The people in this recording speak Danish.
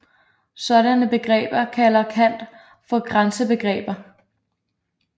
Sådanne begreber kalder Kant for grænsebegreber